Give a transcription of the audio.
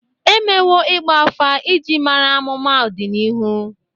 E mewo ịgba afa iji mara amụma ọdịnihu.